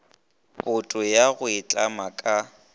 boto ya go itlama ka